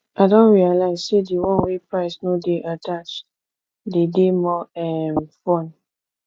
i don realize say di one wey price no de attached dey de more um fun